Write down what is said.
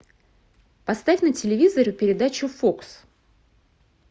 поставь на телевизоре передачу фокс